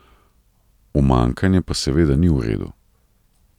Umanjkanje pa seveda ni v redu.